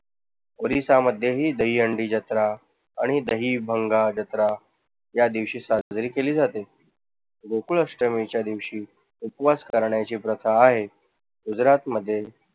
उडीसा मध्ये ही दहीहंडी जत्रा आणि दही या दिवशी साजरी केली जाते. गोकुळाष्टमीच्या दिवशी उपवास करण्याची प्रथा आहे. गुजरातमध्ये